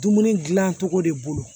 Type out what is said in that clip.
Dumuni gilan cogo de bolo